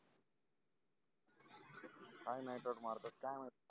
काय नाही तर मारतात काही माहित